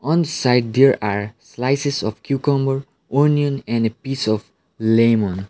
one side there are slices of cucumber onion and a piece of lemon.